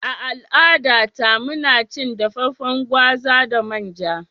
A al'adata, muna cin dafaffen gwaza da manja.